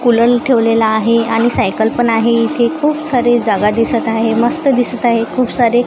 कुलल ठेवलेला आहे आणि सायकल पण आहे इथे खूप सारी जागा दिसत आहे मस्त दिसत आहे खूप सारी--